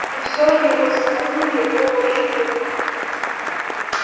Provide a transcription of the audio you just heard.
и всё же его самолюбие было ущемлено